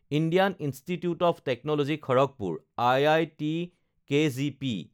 Indian institute of technology Kharagpur (IITKGP)